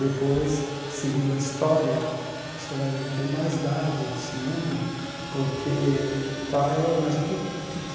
Depois, seguindo a história, você vai ver que eu tenho mais dados do segundo, porque o pai é mais o que o que